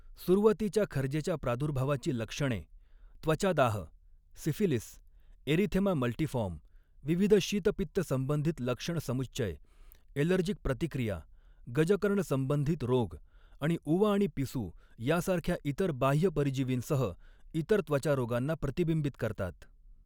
सुरुवातीच्या खरजेच्या प्रादुर्भावाची लक्षणे त्वचादाह, सिफिलीस, एरिथेमा मल्टीफॉर्म, विविध शीतपित्त संबंधित लक्षणसमुच्चय, ऍलर्जीक प्रतिक्रिया, गजकर्ण संबंधित रोग आणि उवा आणि पिसू यांसारख्या इतर बाह्यपरजीवींसह इतर त्वचारोगांना प्रतिबिंबित करतात.